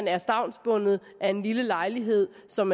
er stavnsbundet af en lille lejlighed som